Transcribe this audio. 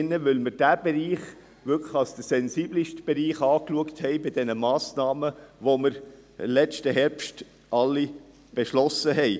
Denn wir erachten diesen Bereic h als den sensibelsten unter den Massnahmen, die wir letzten Herbst beschlossen haben.